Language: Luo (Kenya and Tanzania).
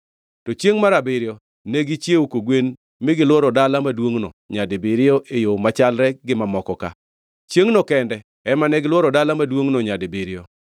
To chiengʼ mar abiriyo, ne gichiewo kogwen mi gilworo dala maduongʼno nyadibiriyo e yo machalre gi mamoko ka. Chiengʼno kende ema negilworo dala maduongʼno nyadibiriyo.